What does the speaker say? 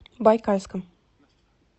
байкальском